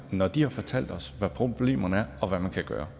når de har fortalt os hvad problemerne er og hvad man kan gøre